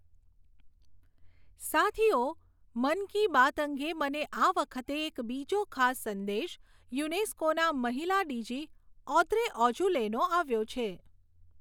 સાથીઓ, મન કી બાત અંગે મને આ વખતે એક બીજો ખાસ સંદેશ યુનેસ્કોના મહિલા ડીજી ઔદ્રે ઑજુલેનો આવ્યો છે.